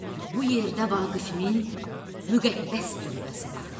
Bu yerdə Vaqifmin müqəddəs türbəsi var.